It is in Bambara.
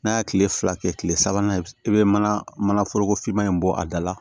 N'a ye kile fila kɛ kile sabanan i bɛ mana mana foroko fiman in bɔ a da la